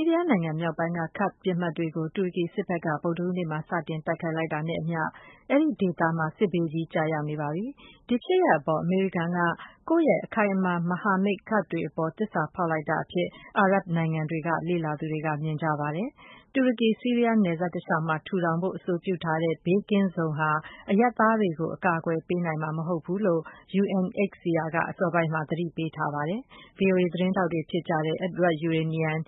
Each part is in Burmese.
ီးရီးယားနိုင်ငံ မြောက်ပိုင်းက ကာ့ဒ်ပစ်မှတ်တွေကို တူရကီစစ်ဘက်က ဗုဒ္ဓဟူးနေ့မှာ စတင် တိုက်ခိုက်လိုက်တာ နဲ့အမျှ အဲဒီဒေသမှာ စစ်ဘေးကြီး ကျရောက်နေပါပြီ။ ဒီဖြစ်ရပ်အပေါ် အမေရိကန်က ကိုယ့်ရဲ့ အခိုင်အမာ မဟာမိတ် ကာ့ဒ်တွေ အပေါ် သစ္စာဖောက်လိုက်တာ အဖြစ် အာရပ်ဘ်နိုင်ငံတွေက လေ့လာသူတွေက မြင်ပါတယ်။ တူရကီ-ဆီးရီးယား နယ်စပ် တလျှောက်မှာ ထူထောင်ဖို့ အဆိုပြုထားတဲ့ ဘေးကင်းဇုံဟာ အရပ်သားတွေကို အကာအကွယ်ပေးနိုင်မှာ မဟုတ်ဘူးလို့ UNHCR က အစောပိုင်းမှာ သတိပေးထားပါတယ်။ ဗွီအိုအေ သတင်းထောက်တွေ ဖြစ်ကြတဲ့ Edward Yeranian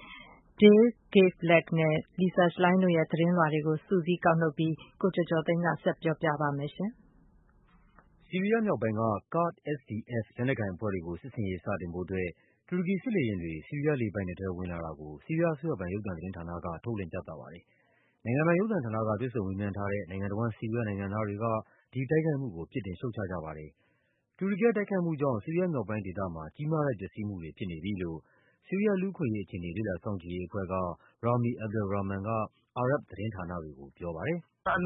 ၊ Dale Gavlak နဲ့ Lisa Schlein တို့ရဲ့သတင်းလွှာတွေကို စုစည်းကောက်နုတ်ပြီး ကိုကျော်ကျော်သိန်းက ဆက်ပြောပြပါမယ်။ ဆီးရီးယားမြောက်ပိုင်းက ကာ့ဒ် SDF လက်နက်ကိုင်အဖွဲ့တွေကို စစ်ဆင်ရေးစတင်ဖို့ အတွက် တူရကီ စစ်လေယာဉ်တွေ ဆီးရီးယားလေပိုင်နက်ထဲ ဝင်လာတာကို ဆီးရီးယားအစိုးရပိုင် ရုပ်သံသတင်းဌာနက ထုတ်လွှင့်ပြသပါတယ်။ နိုင်ငံပိုင် ရုပ်သံဌာန က တွေ့ဆုံမေးမြန်းထားတဲ့ နိုင်ငံတဝန်း ဆီးရီးယားနိုင်ငံသားတွေက ဒီတိုက်ခိုက်မှုကို ပြစ်တင်ရှုတ်ချကြပါတယ်။ တူရကီရဲ့တိုက်ခိုက်မှုကြောင့် ဆီးရီးယားမြောက်ပိုင်းဒေသမှာ ကြီးမားတဲ့ပျက်စီးမှုတွေ ဖြစ်နေပြီလို့ ဆီးရီးယား လူ့အခွင့်အရေး အခြေအနေ လေ့လာစောင့်ကြည့်ရေးအဖွဲ့က Rami Abdel Rahman က အာရပ်ဘ်သတင်းဌာနတွေကို ပြောပါတယ်။ “Ras al Ain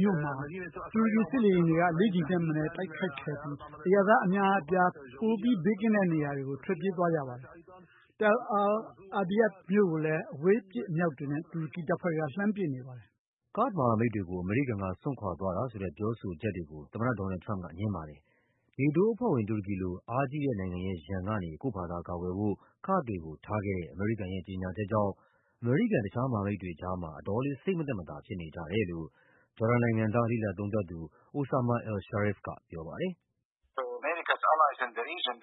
မြို့မှာ တူရကီစစ်လေယာဉ်တွေက လေးကြိမ်ထက်မနည်း တိုက်ခိုက်ခဲ့ပြီး အရပ်သား အများအပြား ပိုပြီးဘေးကင်းတဲ့နေရာတွေကို ထွက်ပြေးသွားကြပါတယ်။ Tal al Abyad မြို့ကိုလည်း အဝေးပစ်အမြောက်တွေနဲ့ တူရကီတပ်ဖွဲ့တွေက လှမ်းပစ်နေပါတယ်။” ကာ့ဒ်မဟာမိတ်တွေကို အမေရိကန်က စွန့်ခွာသွားတာဆိုတဲ့ ပြောဆိုချက်တွေကို သမ္မတ ဒေါ်နယ်လ်ဒ် ထရမ့်ပ်က ငြင်းပါတယ်။ NATO အဖွဲ့ဝင် တူရကီလို အားကြီးတဲ့နိုင်ငံရဲ့ရန်ကနေ ကိုယ့်ဖာသာကာကွယ်ဖို့ ကာ့ဒ်တွေကိုထားခဲ့တဲ့ အမေရိကန်ရဲ့ ကြေညာ ချက်ကြောင့် အမေရိကန် တခြားမဟာမိတ်တွေကြားမှာ အတော်လေး စိတ်မသက်မသာဖြစ်နေကြတယ်လို့ ဂျော်ဒန်နိုင်ငံသား လေ့လာသုံးသပ်သူ Osama al Sharif ကပြောပါတယ်။ “ဒေသတွင်းက အမေရိကန်ရဲ့မဟာမိတ်တွေ အတ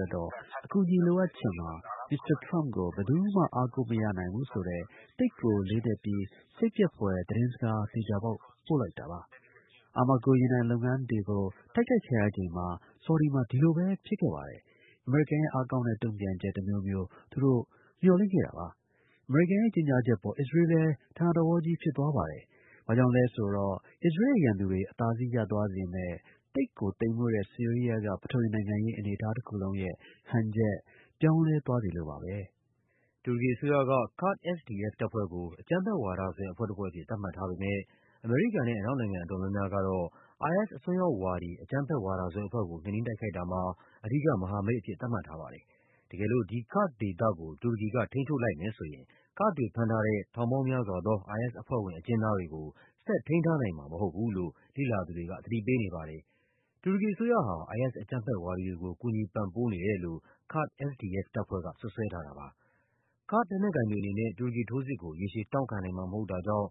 ွက်တော့ အကူအညီ လိုအပ်ချိန်မှာ မစ္စတာထရမ့်ပ်ကို ဘယ်သူမှ အားကိုးမရနိုင်ဘူးဆိုတဲ့ သိပ်ကိုလေးနက်ပြီး စိတ်ပျက်ဖွယ် သတင်းစကား သေချာပေါက် ပို့လိုက်တာပါ။ Armaco ရေနံလုပ်ငန်းနေရာတွေကို တိုက်ခိုက်ခံရချိန်က ဆော်ဒီမှာ ဒီလိုပဲဖြစ်ခဲ့ပါတယ်။ အမေရိကန်ရဲ့ အားကောင်းတဲ့ တုန့်ပြန်ချက် တမျိုးမျိုး သူတို့မျှော်လင့်ခဲ့တာပါ။ အမေရိကန်ရဲ့ကြေညာချက်အပေါ် အစ္စရေးလ်လည်း အံ့သြတကြီး ဖြစ်သွားပါတယ်။ ဘာကြောင့်လဲဆိုတော့ အစ္စရေးလ်ရဲ့ရန်သူတွေ အသာစီးရသွားစေမယ့် သိပ်ကိုသိမ်မွေ့တဲ့ ဆီးရီးယားက ပထဝီနိုင်ငံရေး အနေအထားတခုလုံးရဲ့ဟန်ချက် ပြောင်းလဲသွားစေလို့ပါပဲ။” တူရကီအစိုးရက ကာ့ဒ် SDF တပ်ဖွဲ့ကို အကြမ်းဖက်ဝါဒစွဲအဖွဲ့တဖွဲ့အဖြစ် သတ်မှတ်ထားပေမယ့် အမေရိကန်နဲ့ အနောက်နိုင်ငံ အတော်များများကတော့ IS အစွန်းရောက်ဝါဒီ အကြမ်းဖက်ဝါဒစွဲ အဖွဲ့ကို နှိမ်နင်းတိုက်ခိုက်တာမှာ အဓိက မဟာမိတ်အဖြစ် သတ်မှတ်ထားပါတယ်။ တကယ်လို့ ဒီ ကာ့ဒ်ဒေသကို တူရကီက ထိန်းချုပ်လိုက်မယ်ဆိုရင် ကာ့ဒ်တွေဖမ်းထားတဲ့ ထောင်ပေါင်းများစွာသော IS အဖွဲ့ဝင် အကျဉ်းသားတွေကို ဆက်ထိန်းထားနိုင်မှာမဟုတ်ဘူးလို့ လေ့လာသူတွေက သတိပေးနေပါတယ်။ တူရကီအစိုးရဟာ IS အကြမ်း ဖက်ဝါဒီတွေကို ကူညီပံ့ပိုးနေတယ်လို့ ကာ့ဒ် SDF တပ်ဖွဲ့က စွပ်စွဲထားတာပါ။ ကာ့ဒ်လက်နက်ကိုင်တွေ အနေနဲ့ တူရကီ ထိုးစစ်ကို ရေရှည်တောင့်ခံနိုင်မှာ မဟုတ်တာကြောင့်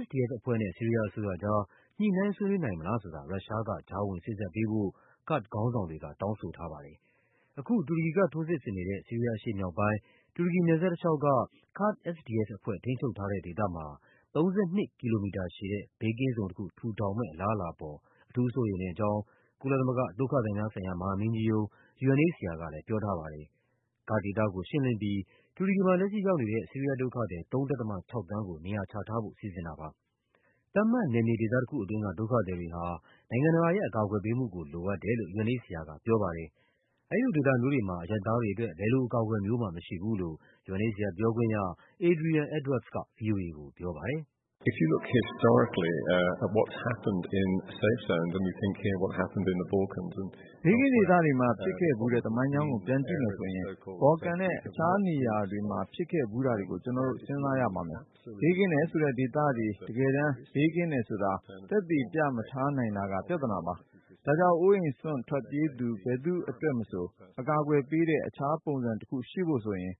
SDF အဖွဲ့နဲ့ ဆီးရီးယားအစိုးရကြား ညှိနှိုင်းဆွေးနွေး နိုင်မလားဆိုတာ ရုရှားက ကြားဝင်စေ့စပ်ပေးဖို့ ကာ့ဒ်ခေါင်းဆောင်တွေက တောင်းဆိုထားပါတယ်။ အခု တူရကီကထိုးစစ်ဆင်နေတဲ့ ဆီးရီးယားအရှေ့မြောက်ပိုင်း တူရကီ နယ်စပ်တလျှောက်က ကာ့ဒ် SDF အဖွဲ့ ထိန်းချုပ်ထားတဲ့ ဒေသမှာ ၃၂ ကီလိုမီတာရှည်တဲ့ ဘေးကင်းဇုံတခု ထူထောင်မယ့် အလားအလာအပေါ် အထူးစိုးရိမ်မိတဲ့အကြောင်း ကုလသမဂ္ဂ ဒုက္ခသည်များဆိုင်ရာ မဟာမင်းကြီးရုံး UNHCR ကပြောထားပါတယ်။ ကာ့ဒ်ဒေသကို ရှင်းလင်းပြီး တူရကီမှာ လက်ရှိရောက်နေတဲ့ ဆီးရီးယားဒုက္ခသည် ၃ ဒသမ ၆ သန်းကို နေရာချထားဖို့ စီစဉ်တာဖြစ်ပါ တယ်။ သတ်မှတ် နယ်မြေဒေသတခုတွင်းက ဒုက္ခသည်တွေဟာ နိုင်ငံတကာရဲ့ အကူအညီကို လိုအပ်တယ်လို့ UNHCR က ပြော ပါတယ်။ အဲဒီလိုဒေသမျိုးတွေမှာ အရပ်သားတွေအတွက် ဘယ်လိုအကာအကွယ်မျိုးမှ မရှိဘူးလို့ UNHCR ပြောခွင့်ရ Adrian Edwards က ဗွီအိုအေကိုပြောပါတယ်။ “ဘေးကင်းဒေသတွေမှာ ဖြစ်ခဲ့ဖူးတဲ့ သမိုင်းကြောင်းကို ပြန်ကြည့်မယ်ဆိုရင် ဘော်လ်ကန်နဲ့ တခြားနေရာတွေ မှာ ဖြစ်ခဲ့ဖူးတာတွေကို ကျနော်တို့ စဉ်းစားရပါမယ်။ ဘေးကင်းတယ်လို့ဆိုတဲ့ဒေသတွေ တကယ်တမ်း ဘေးကင်းတယ်ဆိုတာ သက်သေပြမထားနိုင်တာက ပြဿနာပါ။ ဒါကြောင့် အိုးအိမ်စွန့်ထွက်ပြေးသူ ဘယ်သူ့အတွက်မဆို အကာအကွယ်ပေးတဲ့ တခြား ပုံစံတခုရှိဖို့ဆိုရင်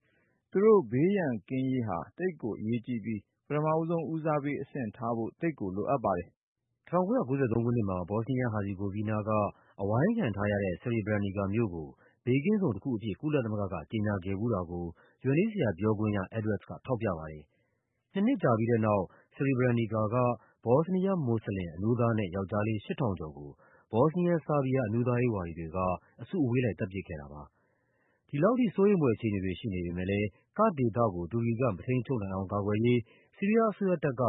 သူတို့ ဘေးရန်ကင်းရေးဟာ သိပ်ကိုအရေးကြီးပြီး ပထမဆုံး ဦးစားပေးအဆင့်ထားဖို့ သိပ်ကို လိုအပ်ပါတယ်။” ၁၉၉၃ ခုနှစ်မှာ ဘောစနီးယား-ဟာဇီဂိုးဗီးနားက အဝိုင်းခံထားရတဲ့ Srebrenica မြို့ကို ဘေးကင်းဇုံတခုအဖြစ် ကုလသမဂ္ဂက ကြေညာခဲ့ဖူးတာကို UNHCR ပြောခွင့်ရ Edwards က ထောက်ပြပါတယ်။ နှစ်နှစ်ကြာပြီးတဲ့နောက် Srebrenica က ဘောစနီး ယား မွတ်စလင် အမျိုးသားနဲ့ ယောက်ျားလေး ၈ ထောင်ကျော်ကို ဘောစနီးယား ဆားဘီးယား အမျိုးသားရေးဝါဒီတွေက အစု အဝေးလိုက် သတ်ပစ်ခဲ့တာပါ။ ဒီလိုစိုးရိမ်ဖွယ်အခြေအနေတွေ ရှိနေပေမယ့်လည်း ကာ့ဒ်ဒေသကို တူရကီက မထိန်းချုပ်နိုင်အောင် ကာကွယ်ရေး ဆီးရီးယား အစိုးရတပ်က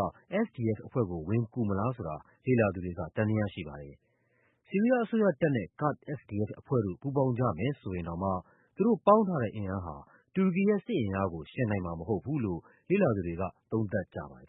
SDF အဖွဲ့ကို ဝင်ကူမလားဆိုတာ လေ့လာသူတွေက သံသယရှိပါတယ်။ ဆီးရီးယားအစိုးရနဲ့ ကာ့ဒ် SDF အဖွဲ့တို့ ပူးပေါင်းကြတယ်ဆိုရင်တောင်မှ သူတို့ပေါင်းထားတဲ့ အင်အားဟာ တူရကီရဲ့ စစ်အင် အားကို ယှဉ်နိုင်မှာမဟုတ်ဘူးလို့ လေ့လာသူတွေက သုံးသပ်ကြပါတယ်